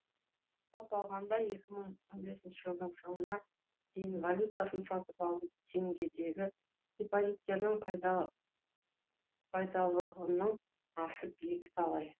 жалпы алғанда екі мың он бесінші жылдың соңына дейін валютасын сатып алу теңгедегі депозиттердің пайдалылығының асып екіталай